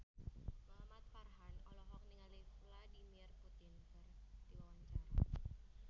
Muhamad Farhan olohok ningali Vladimir Putin keur diwawancara